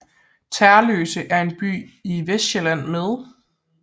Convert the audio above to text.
Tersløse er en by i Vestsjælland med